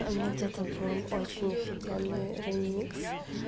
у меня где-то был очень офигенный ремикс